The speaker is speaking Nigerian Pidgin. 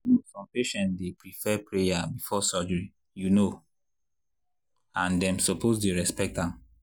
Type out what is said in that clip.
you know some patients dey prefer prayer before surgery you know and dem suppose dey respect am.